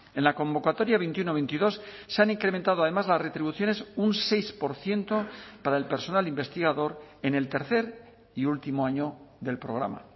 en la convocatoria veintiuno veintidós se han incrementado además las retribuciones un seis por ciento para el personal investigador en el tercer y último año del programa